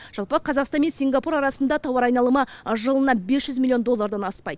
жалпы қазақстан мен сингапур арасындағы тауар айналымы жылына бес жүз миллион доллардан аспайды